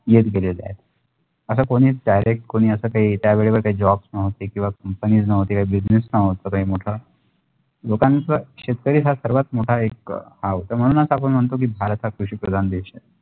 अशा कोणीही direct कोणी अशा क्या त्या वडीवर त्या job नव्हाती किंवा company नव्हाती काही business नव्हात काही मोठा मोठाण्यास शेतकरी हा मोठा हे एक आव त्या मणुनच आपण म्णतोकी भारत हा एक कृषिप्रधान देश